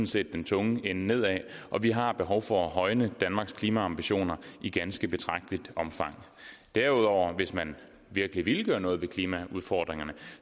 set den tunge ende nedad og vi har behov for at højne danmarks klimaambitioner i ganske betragteligt omfang derudover hvis man virkelig ville gøre noget ved klimaudfordringerne